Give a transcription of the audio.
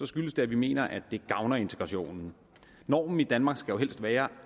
skyldes det at vi mener at det gavner integrationen normen i danmark skal jo helst være